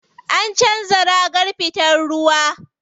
An canza ragar fitar ruwa.